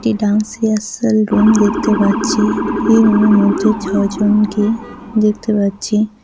এটি dance rehearsal room দেখতে পাচ্ছি এই রুম এর মধ্যে ছয়জনকে দেখতে পাচ্ছি।